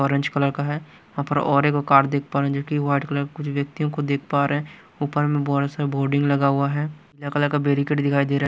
Orange colour का है यहाँ पर और एक और कार्ड देख पा रहे हैं जोकि व्हाईट कलर कुछ व्यक्तियों को देख पा रहे हैं ऊपर में बड़ा सा बोर्डिंग लगा हुआ है कलर का बेरीकेट दिखाई दे रहा है।